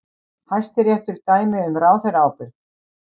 Hæstiréttur dæmi um ráðherraábyrgð